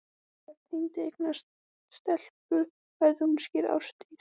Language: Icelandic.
Og ef Tengdi eignast stelpu, verður hún skírð Ásdís